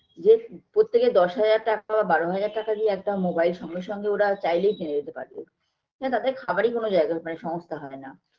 যে প্রত্যেকে দশহাজার টাকা বা বারো হাজার টাকা দিয়ে একটা mobile সঙ্গে সঙ্গে ওরা চাইলেই কিনে দিতে পারবে না তাদের খাবারই কোনো জায়গা মানে সংস্থা হয়না